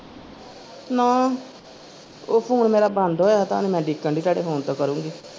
ਨਾ ਉਹ phone ਮੇਰਾ ਬੰਦ ਹੋਇਆ ਤੁਹਾਨੂੰ ਮੈਂ ਉਡੀਕਣ ਦੀ ਤੁਹਾਡੇ phone ਤੋਂ ਕਰੂੰਗੀ।